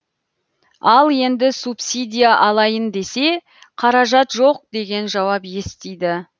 ал енді субсидия алайын десе қаражат жоқ деген жауап естиді